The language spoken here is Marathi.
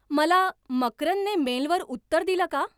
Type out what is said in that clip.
मला मकरंदने मेलवर उत्तर दिलं का?